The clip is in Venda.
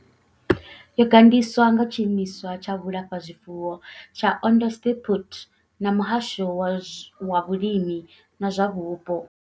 Yo gandiswa nga Tshiimiswa tsha vhulafhazwifuwo tsha Onderstepoort na muhasho wa vhulimi na zwa vhupo.